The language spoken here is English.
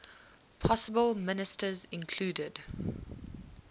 possible ministers included